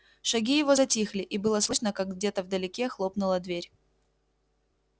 шаги его затихли и было слышно как где-то вдалеке хлопнула дверь